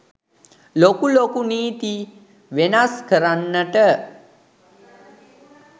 ලොකු ලොකු නීති වෙනස් කරන්නට